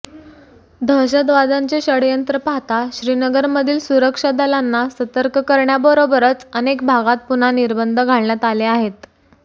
दहशतवाद्यांचे षडयंत्र पाहता श्रीनगरमधील सुरक्षा दलांना सतर्क करण्याबरोबरच अनेक भागात पुन्हा निर्बंध घालण्यात आले आहेत